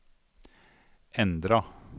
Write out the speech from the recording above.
endra